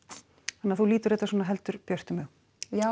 þannig að þú lítur þetta svona heldur björtum augum já